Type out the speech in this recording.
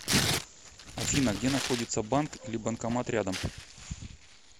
афина где находится банк или банкомат рядом